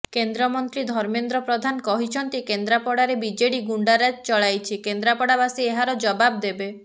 କେନ୍ଦ୍ରମନ୍ତ୍ରୀ ଧର୍ମେନ୍ଦ୍ର ପ୍ରଧାନ କହିଛନ୍ତି କେନ୍ଦ୍ରାପଡ଼ାରେ ବିଜେଡି ଗୁଣ୍ଡାରାଜ ଚଳାଇଛି କେନ୍ଦ୍ରାପଡ଼ାବାସୀ ଏହାର ଜବାବ୍ ଦେବେ